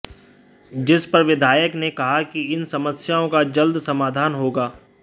जिस पर विधायक ने कहा कि इन समस्याओं का जल्द समाधान होगा